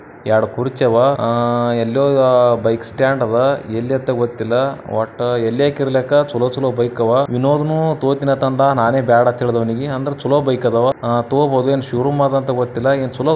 ಯಡ್ ಕುರ್ಚಿ ಆವಾ ಆ ಎಲ್ಲೋ ಬೈಕ್ ಸ್ಟಾಂಡ್ ಅದ ಎಲ್ಲಿ ಅಂತ ಗೊತ್ತಿಲ್ಲ ವಟ್ಟ ಎಲ್ಯಕ ಇರಲಕ ಚಲೋ ಚಲೋ ಬೈಕ್ ಅವ ವಿನೋದನ ತಗೋತೀನಿ ಅತ್ತಂದ ನಾನೇ ಬ್ಯಾಡ ಅಂತ ಹೇಳಿದೆ ಅವನಿಗೆ ಅಂದ್ರ ಚಲೋ ಬೈಕ ಅದಾವ ಆ ತಗೋಬಹುದು ಏನು ಶೋರೂಮ್ ಅದಂತಹೇಳಿ ಗೊತ್ತಿಲ್ಲ ಏನ್ ಚಲೋ ಅದು --